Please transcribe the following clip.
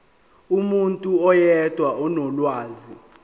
umuntu oyedwa onolwazi